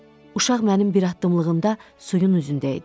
Uşaq mənim bir addımlığımda suyun üzündəydi.